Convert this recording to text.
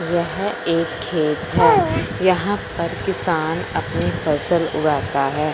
यह एक खेत है यहां पर किसान अपनी फसल उगाता है।